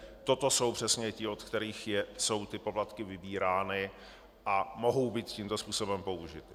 Toto jsou přesně ti, od kterých jsou ty poplatky vybírány, a mohou být tímto způsobem použity.